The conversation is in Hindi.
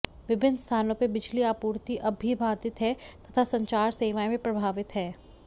विभिन्न स्थानों पर बिजली आपूर्ति अब भी बाधित है तथा संचार सेवाएं भी प्रभावित हैं